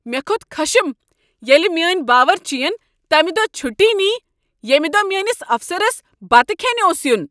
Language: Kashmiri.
مےٚ کھوٚت خشم ییٚلہ میٲنۍ باؤرچین تمہ دۄہ چھٹی نیہ ییٚمہ دۄہہ میٲنس افسرس بتہٕ کھیٚنہ اوس ین۔